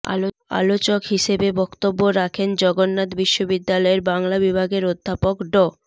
আলোচক হিসেবে বক্তব্য রাখেন জগন্নাথ বিশ্ববিদ্যালয়ের বাংলা বিভাগের অধ্যাপক ড